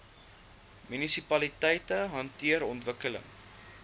munisipaliteite hanteer ontwikkeling